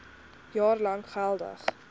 jaar lank geldig